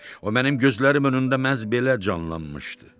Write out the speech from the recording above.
O mənim gözlərim önündə məhz belə canlanmışdı.